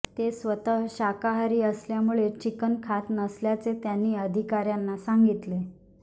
ते स्वतः शाकाहारी असल्यामुळे चिकन खात नसल्याचे त्यांनी अधिकाऱ्यांना सांगितले